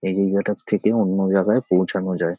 এই জায়গাটার থেকে অন্য জায়গায় পৌঁছানো যায়।